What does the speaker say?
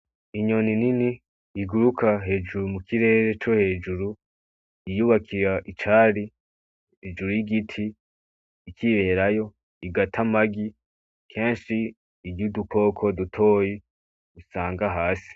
Inyoni nini igukura hejuru mu kirere co hejuru yiyubakira icari hejuru y'igiti ikiberayo, igata amagi kenshi irya udukoko dutoyi isanga hasi.